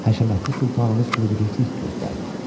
Həşəmətli Sultanımız müdriklik göstərdi.